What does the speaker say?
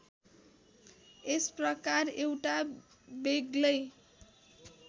यस प्रकार एउटा बेग्लै